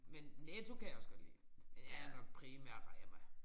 Men Netto kan jeg også godt lide men jeg er nok primært Rema